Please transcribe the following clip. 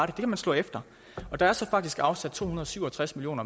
det kan man slå efter der er så faktisk afsat to hundrede og syv og tres million